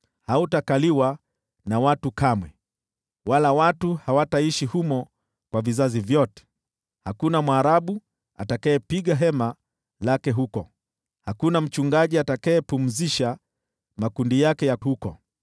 Hautakaliwa na watu kamwe wala watu hawataishi humo kwa vizazi vyote. Hakuna Mwarabu atakayepiga hema lake huko, hakuna mchungaji atakayepumzisha makundi yake huko.